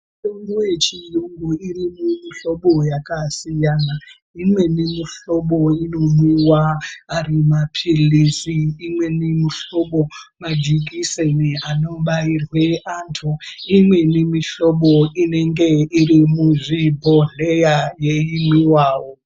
Mitombo yechiyungu iri mumihlobo yakasiyana imweni mihlobo inomwiwa ari maphirizi imweni mihlobo majikiseni anobairwe antu imweni mihlobo inenge iri muzvibhodhleya yeimwiwawo.